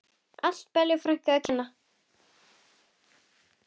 Allt Bellu frænku að kenna.